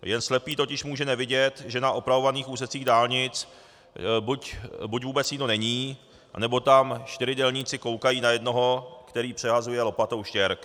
Jen slepý totiž může nevidět, že na opravovaných úsecích dálnic buď vůbec nikdo není, nebo tam čtyři dělníci koukají na jednoho, který přehazuje lopatou štěrk.